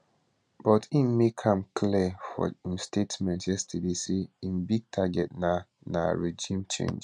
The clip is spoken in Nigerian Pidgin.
but im make am clear for im statement yesterday say im big target na na regime change